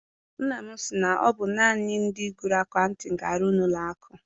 Nna m si na ọ bụ naanị ndị gụrụ akaụtin ga arụ n'ụlọ akụ.